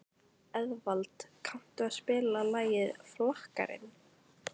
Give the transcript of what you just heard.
Eðvald, kanntu að spila lagið „Flakkarinn“?